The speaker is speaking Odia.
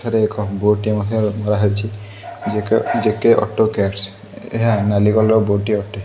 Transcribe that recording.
ଏଠାରେ ଏକ ବୋର୍ଡ଼ ଟେ ମଧ୍ୟ ମରା ହେଇଛି ଜେକେ ଜେକେ ଅଟୋ କେୟାରସ୍ ଏହା ନାଲି କଲର୍ ବୋର୍ଡ଼ ଟେ ଅଟେ।